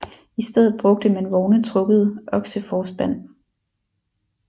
I stedet brugte man vogne trukket okseforspand